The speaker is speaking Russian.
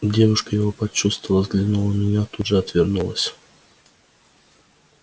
девушка его почувствовала взглянула на меня тут же отвернулась